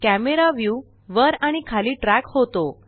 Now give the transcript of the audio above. camera view वर आणि खाली ट्रॅक होतो